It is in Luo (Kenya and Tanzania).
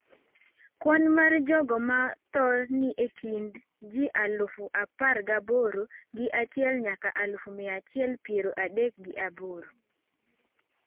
Kwan mar jogo ma tho ni e kind ji, aluf apar gaboro gi achiel nyaka aluf mia achiel piero adek gi aboro